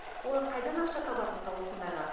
олар қайдан ақша табады мысалы осындайға